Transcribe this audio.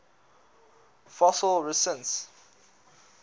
fossil resins